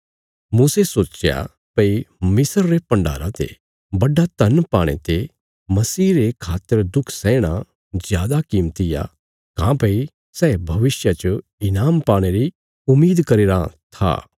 मूसे सोच्चया भई मिस्र रे भण्डारा ते बड्डा धन पाणे ते मसीह रे खातर दुख सैहणा जादा कीमती आ काँह्भई सै भविष्या च ईनाम पाणे री उम्मीद करी रां था